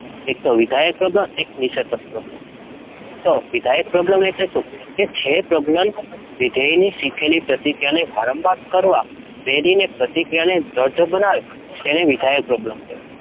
એકતો વિધાયક પ્રબલન અને નિષેધક પ્રબલન તો વિધાયક પ્રબલન એટલે શું? કે જે પ્રબલન વિધેયની શીખેલી પ્રતિક્રિયાને વારંવાર કરવા પ્રેરીને પ્રતિક્રિયાને દઢ બનાવે તેને વિધાયક પ્રબલન કહે છે.